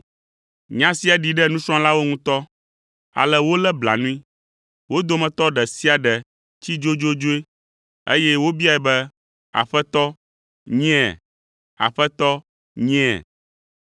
Nya sia ɖi ɖe nusrɔ̃lawo ŋutɔ, ale wolé blanui. Wo dometɔ ɖe sia ɖe tsi dzodzodzoe, eye wobiae be, “Aƒetɔ nyea? Aƒetɔ nyea?”